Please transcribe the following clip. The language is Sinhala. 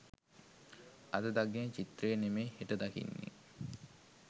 අද දකින චිත්‍රය නෙමෙයි හෙට දකින්නේ